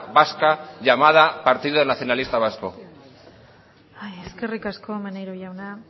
vasca llamada partido nacionalista vasco eskerrik asko maneiro jauna